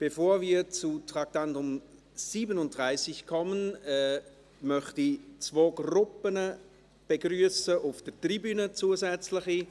Bevor wir zum Traktandum 37 kommen, möchte ich zwei Gruppen auf der Tribüne begrüssen.